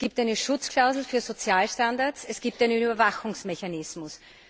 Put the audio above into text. Es gibt eine Schutzklausel für Sozialstandards, es gibt einen Überwachungsmechanismus.